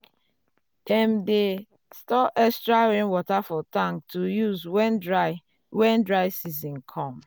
dem dey store extra rainwater for tank to use when dry when dry um season come.